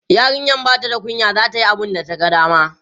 yarinyan Bata da kunya zata Yi abunda ta ga dama